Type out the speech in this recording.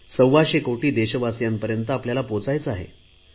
सव्वाशे कोटी देशवासियांपर्यंत आपल्याला पोहचायचे आहे